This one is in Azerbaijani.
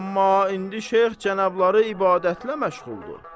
Amma indi Şeyx cənabları ibadətlə məşğuldur.